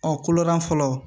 Ɔ koloda fɔlɔ